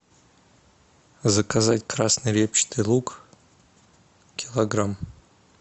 заказать красный репчатый лук килограмм